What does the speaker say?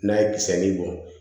N'a ye kisɛ ni bɔ